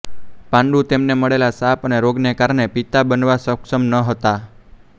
પાંડુ તેમને મળેલા શાપ અને રોગને કારણે પિતા બનવા સક્ષમ ન હતા